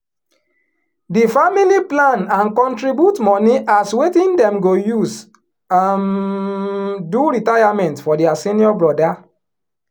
di family plan and contribute money as wetin dem go use um do retirement for dia senior brother